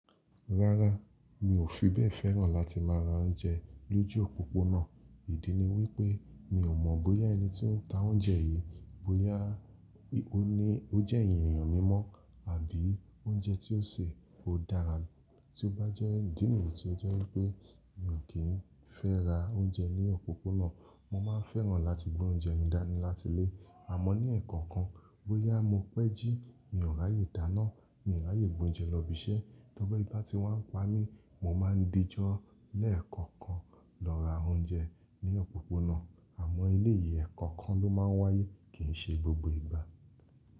Rárá, mi ò fi bẹ́ẹ̀ fẹ́ràn láti máa ra oúnjẹ lójú òpópónà. Ìdí ni wípé mi ò mọ̀ bóyá ẹni tí ó ń ta oúnjẹ yìí, bóyá ó ní ó jẹ́ ènìyàn mímọ́ àbí oúnjẹ tí ó sè ko dára. Tí ó bá jẹ́ idíìnì tí ó jẹ́ wípé mi ò kín fẹ́ ra oúnjẹ ní òpópónà, mo máa ń fẹ́ràn láti gbé oúnjẹ mi dání láti ilé. Àmọ́ ní leekookan bóyá mo pẹ́ jí, mi ò rààyè dáná, mi ò rààyè gbé oúnjẹ lọ ibi iṣẹ́, ti ebi bá ti wá ń pa mí, mo máa ń díjo lẹ́ẹ̀kọ̀okan lọ ra oúnjẹ ní òpópónà. Àmọ́ eleyii, ẹ̀ẹ̀kọ̀okan ló máa ń wáyé, kì n ṣe gbogbo ìgbà.